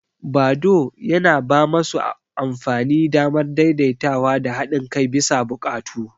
Badoo yana ba masu amfani damar daidaitawa da haɗin kai bisa buƙatu.